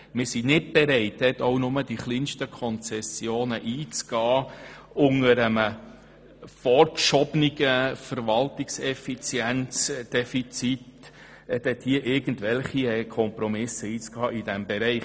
Wir sind nicht bereit, in diesem Bereich unter einem vorgeschobenen Verwaltungseffizienzdefizit auch nur die kleinsten Konzessionen einzugehen.